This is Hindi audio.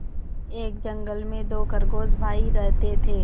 एक जंगल में दो खरगोश भाई रहते थे